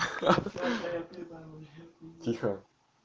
тихо